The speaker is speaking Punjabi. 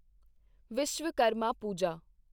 ਵਿਸ਼ਵਕਰਮਾ ਪੂਜਾ